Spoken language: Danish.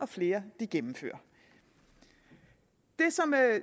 flere gennemfører det